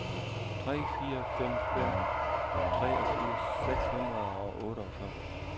tre fire fem fem treogfirs seks hundrede og otteogfyrre